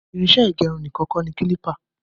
Irinṣẹ ígẹrun nìkan kọ ní klipa